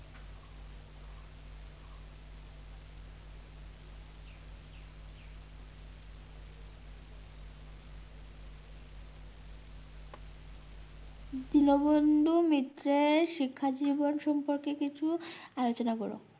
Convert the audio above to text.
দীনবন্ধু মিত্রের শিক্ষাজীবন সম্পর্কে কিছু আলোচনা করো।